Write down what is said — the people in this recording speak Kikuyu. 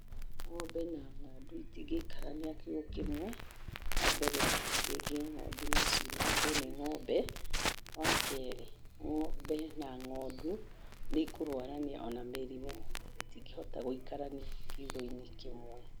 Ng'ombe na ng'ondu itingĩikarania kiugũ kĩmwe, wa mbere rĩngĩ ng'ondu no ciunangwo nĩ ngombe, wa kerĩ ng'ombe na ng'ondu nĩ ikũrwarania o na mĩrimũ. Itingĩhota gũikarania kiugũ-inĩ kĩmwe.